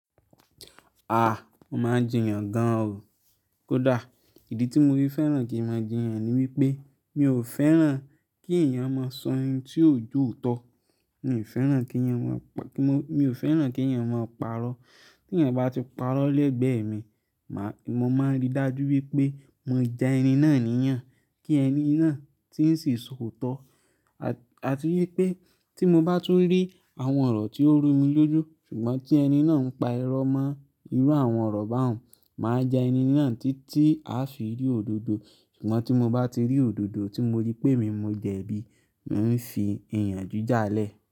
A! Mo má ń jiyàn gan o. Kódà, ìdí tí mo fi fẹ́ràn kí n mo jiyàn ní wípé mi ò fẹ́ràn kí ènìyàn mo sọ ohun tí ó jo ó tọ́, mi ò fẹ́ràn kí ènìyàn mo paró. Ti ènìyàn bá ti pàró l'ẹ́gbẹ̀ mí, mo máa ń rí dájú wípé mo ja ẹni náà ní yan, kí ẹni náà tí ń sì sọ òótọ́ àti wípé tí mo bá tu rí àwọn ọ̀rọ̀ tí ó rú mi lójú ṣùgbọ́n tí i ẹni na ń pa irọ́ mọ́ irú àwọn ọ̀rọ̀ bá wọn, má ja ẹni na títí a fi rí òdodo ṣùgbọ́n tí mo bá ti rí òdodo tí mo rí pe èmi mo jẹ bi, mi ń fi iyanjú jalẹ.